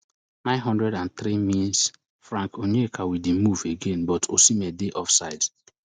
nine hundred and three min frank onyeka wit di move again but osimen dey offside